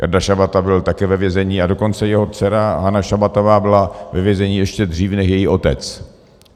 Jarda Šabata byl také ve vězení, a dokonce jeho dcera Anna Šabatová byla ve vězení ještě dřív než její otec.